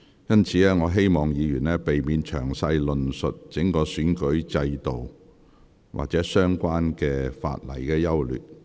因此，請議員避免詳細論述整體選舉制度或相關法例的優劣。